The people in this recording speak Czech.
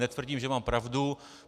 Netvrdím, že mám pravdu.